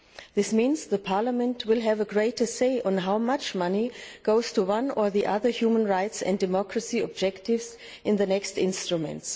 This means Parliament will have a greater say on how much money goes to one or other human rights and democracy objectives in the next instruments.